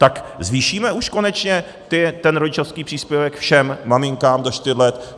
Tak zvýšíme už konečně ten rodičovský příspěvek všem maminkám do čtyř let?